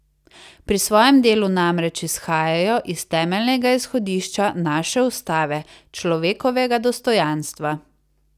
Pri svojem delu namreč izhajajo iz temeljnega izhodišča naše ustave, človekovega dostojanstva.